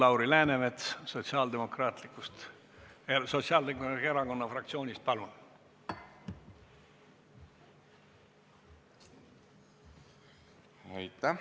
Lauri Läänemets Sotsiaaldemokraatliku Erakonna fraktsioonist, palun!